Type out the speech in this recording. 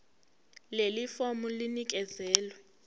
leli fomu linikezelwe